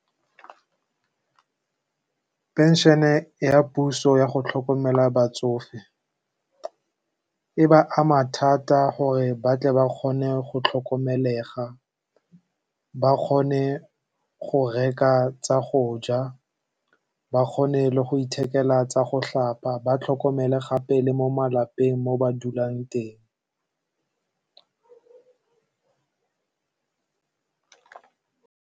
Phenšene ya puso ya go tlhokomela batsofe e ba ama thata gore ba tle ba kgone go tlhokomelega, ba kgone go reka tsa go ja, ba kgone le go ithekela tsa go tlhapa, ba tlhokomele gape le mo malapeng mo ba dulang teng.